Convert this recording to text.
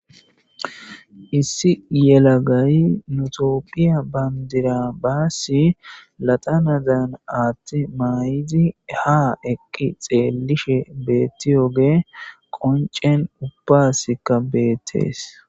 Issi yelagay tophiya bandira basi laxanadan athi mayidi ha eqi xeelidi betiyoogey qoncen ubbasika beetes